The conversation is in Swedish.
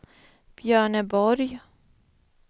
Björneborg